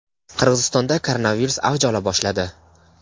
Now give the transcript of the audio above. Qirg‘izistonda koronavirus avj ola boshladi.